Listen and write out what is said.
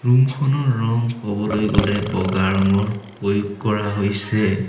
ৰুমখনৰ ৰং কবলৈ গ'লে বগা ৰঙৰ প্ৰয়োগ কৰা হৈছে।